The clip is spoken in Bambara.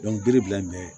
bere bilalen bɛ